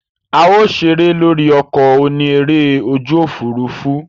A o sere lori oko oni ere oju ofurufu.